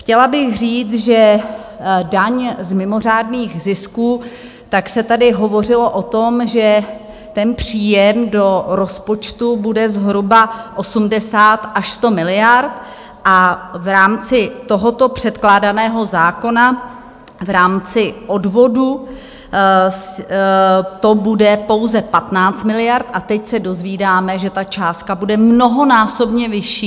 Chtěla bych říct, že daň z mimořádných zisků, tak se tady hovořilo o tom, že ten příjem do rozpočtu bude zhruba 80 až 100 miliard, a v rámci tohoto předkládaného zákona, v rámci odvodu to bude pouze 15 miliard, a teď se dozvídáme, že ta částka bude mnohonásobně vyšší.